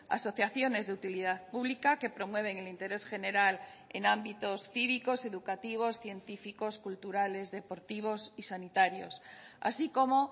asociaciones de utilidad pública que promueven el interés general en ámbitos cívicos educativos científicos culturales deportivos y sanitarios así como